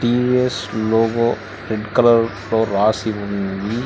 TVS logo red colour తో రాసి ఉంది.